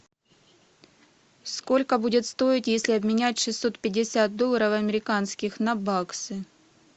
сколько будет стоить если обменять шестьсот пятьдесят долларов американских на баксы